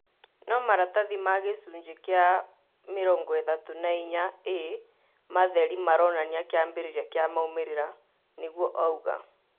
No maratathi ma gĩcunjĩ kĩa 34A matherĩ maronania kĩambĩrĩria kia maumĩrĩra," niguo auga